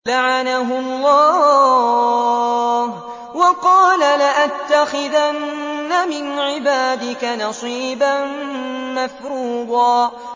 لَّعَنَهُ اللَّهُ ۘ وَقَالَ لَأَتَّخِذَنَّ مِنْ عِبَادِكَ نَصِيبًا مَّفْرُوضًا